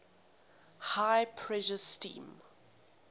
high pressure steam